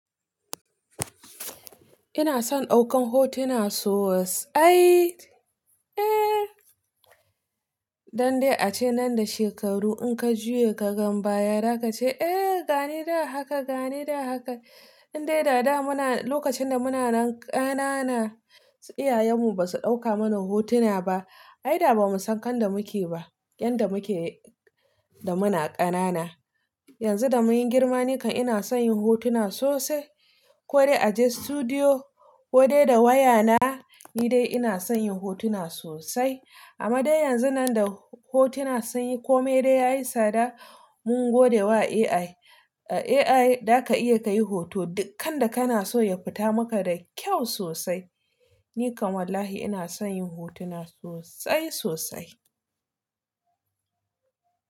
Ina son ɗaukan hotuna sosai. Eh, don dai ace nan da shekaru in ka juya ka gan baya, zaka ce eh gani da haka, gani da haka. Indai dada muna lokacin da muna nan ƙanana, iyayenmu ba su ɗauka mana hotuna ba, Aida ba mu san kan da muke ba, yan da muke da muna ƙanana. Yanzu da mun yi girma nikan ina son yin hotuna sosai. Ko dai a je studio, ko dai da wayana, ni dai ina son yin hotuna sosai. Amma dai yanzu nan da hotuna sun yi kome dai yayi tsada, mun gode wa AI. AI da ka iya ka yi hoto dukkan da kana so ya fita maka da kyau sosai. Ni kan wallahi ina son yin hotuna sosai-sosai.